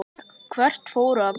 Hvert fóru allir?